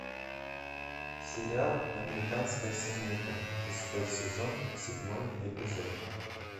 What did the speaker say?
сериал американская семейка шестой сезон седьмой эпизод